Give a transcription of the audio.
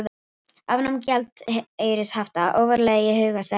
Afnám gjaldeyrishafta ofarlega í huga seðlabanka